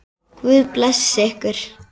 Guð blessi ykkur.